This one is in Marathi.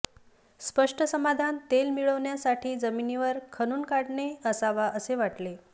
स्पष्ट समाधान तेल मिळविण्यासाठी जमिनीवर खणून काढणे असावा असे वाटले